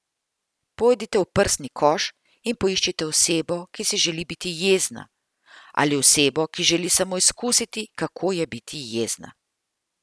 Pojdite v prsni koš in poiščite osebo, ki si želi biti jezna, ali osebo, ki želi samo izkusiti, kako je biti jezna.